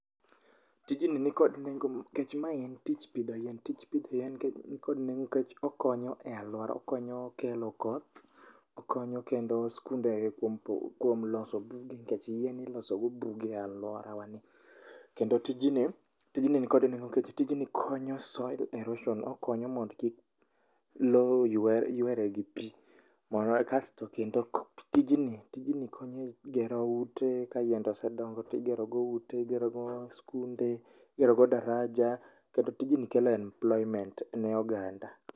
Tijni ni kod nengo kech mae en tich pidho yien. Tij pidho yien ni kod nengo nikech okonyo e alwora. Okonyo e kelo koth, okonyo kendo skunde kuom po kuom loso buge nikech yien ilosogo buge e alworawa ni. Kendo tijni, tijni ni kod nengo nikech konyo soli erosion, okonyo mondo kik lo ywer ywere gi pi. Mondo e kasto kendo tijni, tijni konyo e gero ute ka yiende osedongo tigerogo ute, igero go skunde, igerogo daraja. Kendo tijni kelo employment ne oganda.